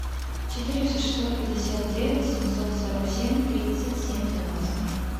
четыреста шестьсот пятьдесят девять семьсот сорок семь тридцать семь девяносто